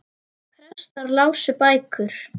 Prestar lásu bækur.